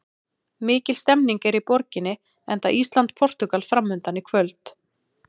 Mikil stemning er í borginni enda Ísland- Portúgal framundan í kvöld.